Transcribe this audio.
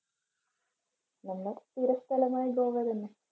നമ്മൾ സ്ഥിര സ്ഥലമായി തന്നെ.